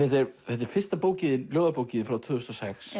þetta er fyrsta ljóðabókin þín frá tvö þúsund og sex